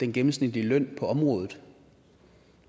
gennemsnitlige løn på området